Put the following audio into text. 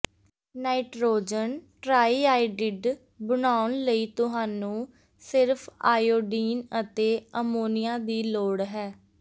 nitrogen triiodide ਬਣਾਉਣ ਲਈ ਤੁਹਾਨੂੰ ਸਿਰਫ ਆਈਓਡੀਨ ਅਤੇ ਅਮੋਨੀਆ ਦੀ ਲੋੜ ਹੈ